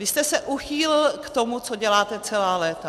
Vy jste se uchýlil k tomu, co děláte celá léta.